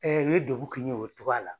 u ye degun kɛ yen o cogoya la